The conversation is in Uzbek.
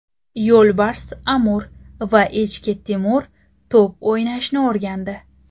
Yo‘lbars Amur va echki Timur to‘p o‘ynashni o‘rgandi .